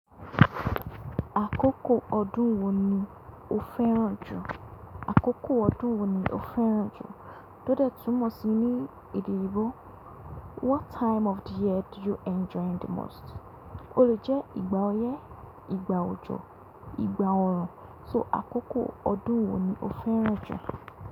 Àkókò ọdún wo ni o fẹ́ràn jù? Àkókò ọdún wo ni o fẹ́ràn jù? Tó dẹ́tú mọ̀ si ní èdè òyìnbó. What time of the year do you enjoy the most? Ó jẹ́ ìgbà oyè, ìgbà òjò, ìgbà oòrùn. So àkókò ọdún wo ni o fẹ́ràn jù?